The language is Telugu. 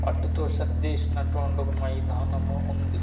అర్టి తో సర్దేసినటువంటి ఓ మైదానము ఉంది.